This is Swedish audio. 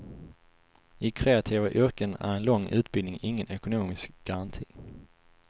I kreativa yrken är en lång utbildning ingen ekonomisk garanti.